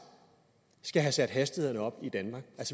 skal have sat hastighederne op i danmark